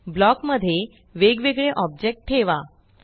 block मध्ये वेग वेगळे ऑब्जेक्ट ठेवा